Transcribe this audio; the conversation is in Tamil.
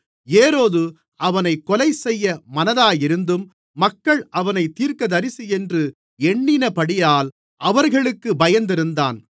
ஏரோது அவனைக் கொலைசெய்ய மனதாயிருந்தும் மக்கள் அவனைத் தீர்க்கதரிசியென்று எண்ணினபடியால் அவர்களுக்குப் பயந்திருந்தான்